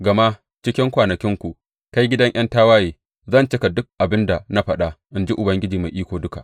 Gama cikin kwanakinku, kai gidan ’yan tawaye, zan cika duk abin da na faɗa, in ji Ubangiji Mai Iko Duka.’